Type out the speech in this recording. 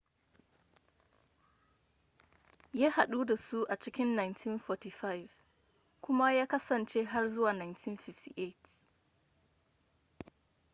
ya hadu da su a cikin 1945 kuma ya kasance har zuwa 1958